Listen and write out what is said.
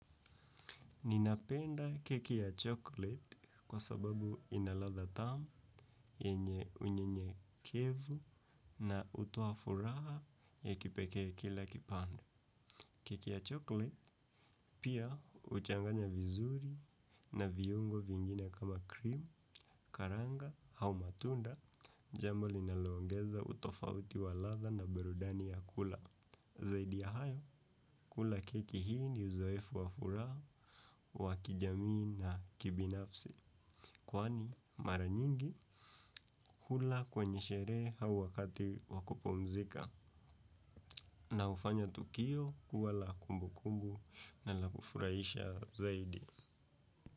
Ninapenda keki ya chocolate kwa sababu ina ladha tamu yenye unyenyekevu na hutoa furaha ya kipekee kila kipande. Keki ya chocolate pia huchanganya vizuri na viungo vingine kama krimu, karanga hau matunda jambo linalo ongeza utofauti wa ladha na burudani ya kula. Zaidi ya hayo, kula keki hii ni uzoefu wafuraha, wa kijamii na kibinafsi. Kwani, mara nyingi, hula kwenye sherehe hau wakati wakupumzika. Na hufanya tukio kuwa la kumbu kumbu na la kufurahisha zaidi.